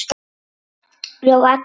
Ég lofa að athuga málið.